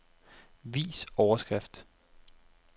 Vis overskrift.